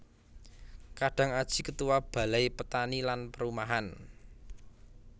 Kadang Aji Ketua Balai petani lan Perumahan